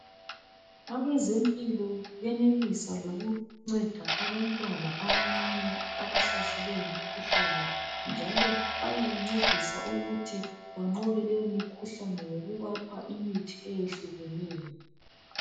Abezempilo benelisa lokunceda abantwana abancane abahlaselwe yimikhuhlane njalo bayabancedisa ukuthi banqobe leyo mikhuhlane ngokubapha imithi ehlukeneyo